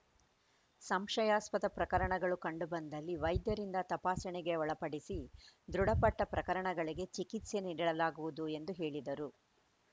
ಸಂಶಯಾಸ್ಪದ ಪ್ರಕರಣಗಳು ಕಂಡು ಬಂದಲ್ಲಿ ವೈದ್ಯರಿಂದ ತಪಾಸಣೆಗೆ ಒಳಪಡಿಸಿ ದೃಢಪಟ್ಟ ಪ್ರಕರಣಗಳಿಗೆ ಚಿಕಿತ್ಸೆ ನೀಡಲಾಗುವುದು ಎಂದು ಹೇಳಿದರು